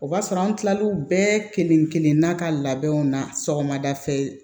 O b'a sɔrɔ an kila l'u bɛɛ kelen-kelenna ka labɛnw na sɔgɔmada fɛ